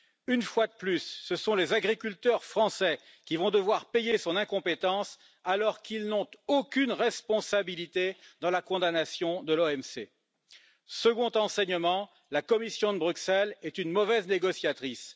Une fois de plus, ce sont les agriculteurs français qui vont devoir payer son incompétence alors qu'ils n'ont aucune responsabilité dans la condamnation de l'OMC. Deuxièmement, la Commission de Bruxelles est mauvaise négociatrice.